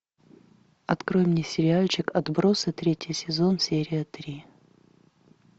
открой мне сериальчик отбросы третий сезон серия три